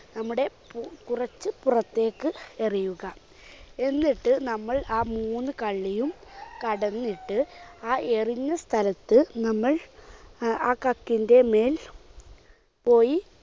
നമ്മുടെ പുപുറത്ത്പുറത്തേയ്ക്ക് എറിയുക. എന്നിട്ട് നമ്മൾ ആ മൂന്നു കള്ളിയും കടന്നിട്ട് ആ എറിഞ്ഞ സ്ഥലത്ത് നമ്മൾ ആ കക്കിന്റെ മേൽ പോയി